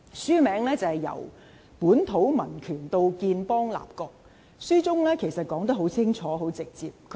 書名是《由本土民權到建邦立國》，書中說得很清楚、很直接。